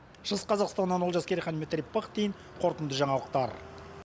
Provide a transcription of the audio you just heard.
шығыс қазақстаннан олжас керейхан дмитрий пыхтин қорытынды жаңалықтар